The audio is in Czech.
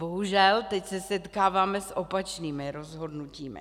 Bohužel teď se setkáváme s opačnými rozhodnutími.